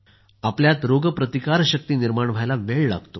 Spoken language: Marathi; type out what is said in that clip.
आपल्यात रोगप्रतिकारशक्ती निर्माण व्हायला वेळ लागतो